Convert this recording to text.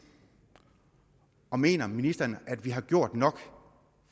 og mener ministeren at vi har gjort nok